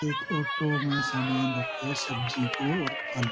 एक ऑटो में सामान रखा हुआ हैं सब्जी को और फल को --